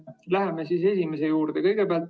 Läheme esimese juurde.